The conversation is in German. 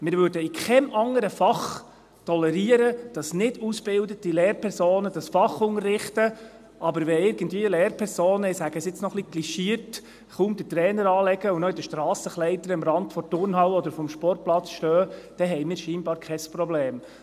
Wir würden in keinem anderen Fach tolerieren, dass nicht ausgebildete Lehrpersonen dieses Fach unterrichten, aber wenn Lehrpersonen – ich sage es jetzt noch ein bisschen klischiert – irgendwie kaum den Trainingsanzug anziehen und in den Strassenkleidern am Rand der Turnhalle oder des Sportplatzes stehen, dann haben wir scheinbar kein Problem.